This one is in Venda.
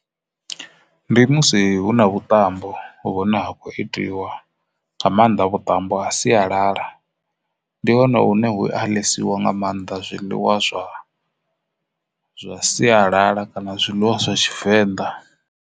Ndi musi hu na vhuṱambo vhune ha khou itiwa nga maanḓa vhuṱambo a sialala ndi hone hune hu a ḽesiwa nga maanḓa zwiḽiwa zwa zwa sialala kana zwiḽiwa zwa Tshivenḓa.